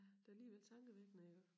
Det alligevel tankevækkende iggå